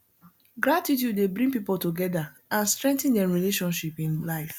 gratitude dey bring people together and strengthen dem relationship in life